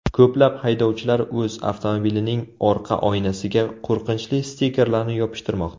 Ko‘plab haydovchilar o‘z avtomobilining orqa oynasiga qo‘rqinchli stikerlarni yopishtirmoqda.